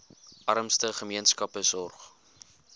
armste gemeenskappe sorg